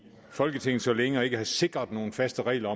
folketinget så længe og ikke har sikret nogen faste regler